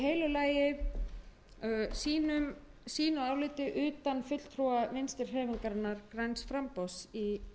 lagi sínu áliti utan fulltrúa vinstri hreyfingarinnar græns framboðs í þeirri nefnd